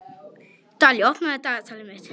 Dalí, opnaðu dagatalið mitt.